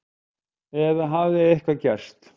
Eða hafði eitthvað gerst?